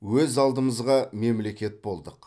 өз алдымызға мемлекет болдық